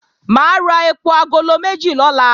Mà á ra èpò agolo méjì lọ́la